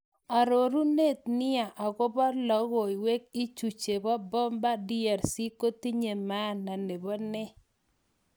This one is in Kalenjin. Arorunatet nia agopa logowek ichu chepo Bemba DRC kotinye maana nepo nee?